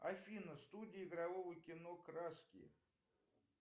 афина студия игрового кино краски